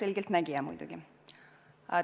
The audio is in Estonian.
Esiteks, ma ei ole muidugi selgeltnägija.